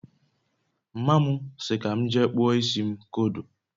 mma mu si ka m jee kpụọ isi m kodo